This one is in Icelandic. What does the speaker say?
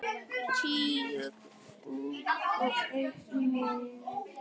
Tígull út og einn niður.